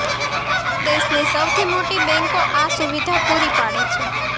દેશની સૌથી મોટી બેંકો આ સુવિધા પૂરી પાડે છે